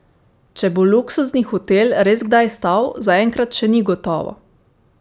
Če bo luksuzni hotel res kdaj stal, zaenkrat še ni gotovo.